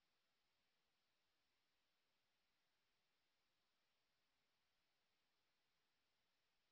যদি ভাল ব্যান্ডউইডথ না থাকে তাহলে আপনি ভিডিও টি ডাউনলোড করে দেখতে পারেন